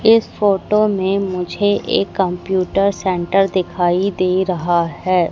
इस फोटो में मुझे एक कंप्यूटर सेंटर दिखाई दे रहा है।